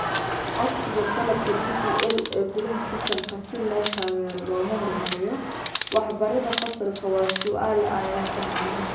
Codsiga qalabka DPL ee gudaha fasalka si loo taageero loona horumariyo waxbarida fasalka waa su'aal aan la sahamin.